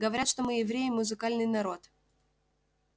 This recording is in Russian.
говорят что мы евреи музыкальный народ